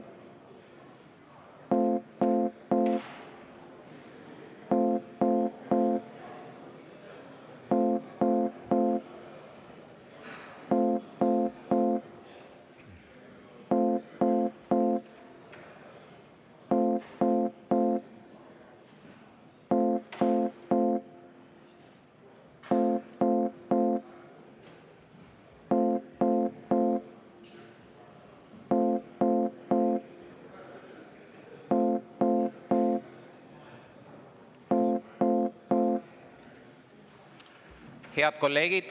Head kolleegid!